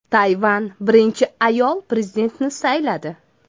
Tayvan birinchi ayol prezidentini sayladi.